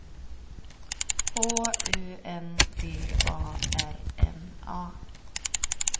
H U N D A R N A